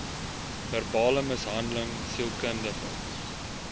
verbale mishandeling sielkundige